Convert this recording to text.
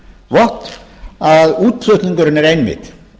vott að útflutningurinn er einmitt